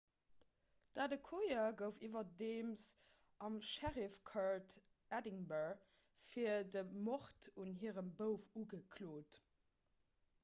d'adekoya gouf iwwerdeems am sheriff court edinburgh fir de mord un hirem bouf ugeklot